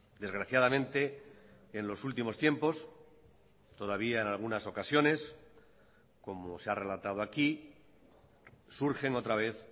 desgraciadamente en los últimos tiempos todavía en algunas ocasiones como se ha relatado aquí surgen otra vez